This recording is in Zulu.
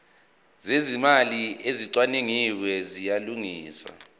zezimali ezicwaningiwe ziyalungiswa